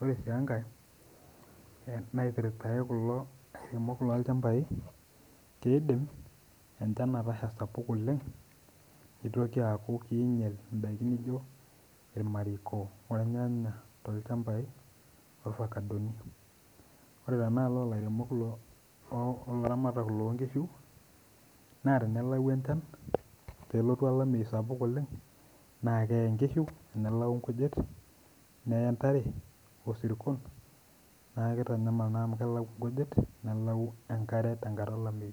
Ore sii enkae naipirtare kulo lairemok loo ilchambai keidim enchan atasha sapuk oleng, neitoki aaku keinyal indaki nijo ilmariko olyanya te ilchambai, ovacadoni. Ore tenealo olairemok o laramatak loo inkishu naa tenelau enchan, nelotu olameiyu sapuk oleng naa keyei inkishu nelau inkujit, need entered o sirkon, naa keitanyamal naa amu keyalau inkujit, nelau enkare tenkata elameiyu.